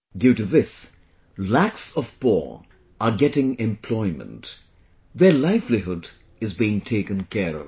Due to this lakhs of poor are getting employment; their livelihood is being taken care of